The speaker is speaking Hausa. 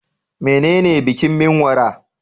Menene bikin Menwara?